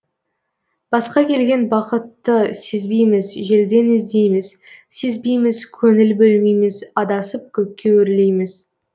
басқа келген бақытты сезбейміз желден іздейміз сезбейміз көңіл бөлмейміз адасып көкке өрлейміз